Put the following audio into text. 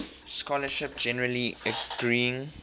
scholarship generally agreeing